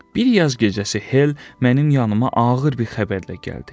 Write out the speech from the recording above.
Bir yaz gecəsi Hel mənim yanımaq ağır bir xəbərlə gəldi.